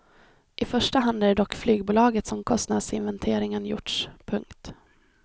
I första hand är det dock i flygbolaget som kostnadsinventeringen gjorts. punkt